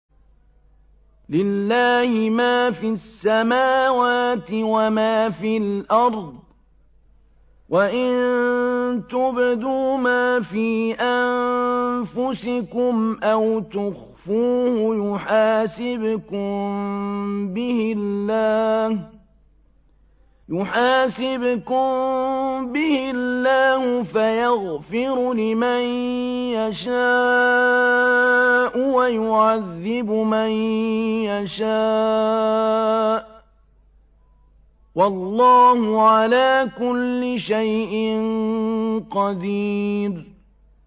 لِّلَّهِ مَا فِي السَّمَاوَاتِ وَمَا فِي الْأَرْضِ ۗ وَإِن تُبْدُوا مَا فِي أَنفُسِكُمْ أَوْ تُخْفُوهُ يُحَاسِبْكُم بِهِ اللَّهُ ۖ فَيَغْفِرُ لِمَن يَشَاءُ وَيُعَذِّبُ مَن يَشَاءُ ۗ وَاللَّهُ عَلَىٰ كُلِّ شَيْءٍ قَدِيرٌ